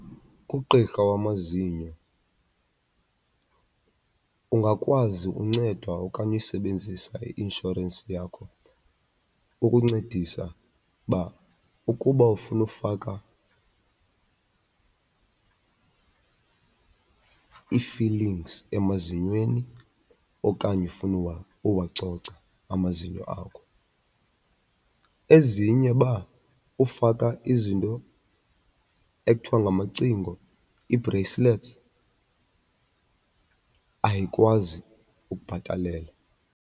Kugqirha wamazinyo ungakwazi uncedwa okanye uyisebenzisa i-inshorensi yakho ukuncedisa uba ukuba ufuna ufaka ii-filings emazinyweni okanye ufuna uwacoca amazinyo akho. Ezinye uba ufaka izinto ekuthiwa ngamacingo, ii-bracelets, ayikwazi ukubhatalela.